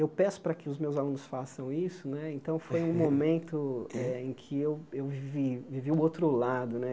Eu peço para que os meus alunos façam isso né, então foi um momento eh em que eu eu vi vivi o outro lado né.